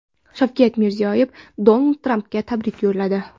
Shavkat Mirziyoyev Donald Trampga tabrik yo‘lladi.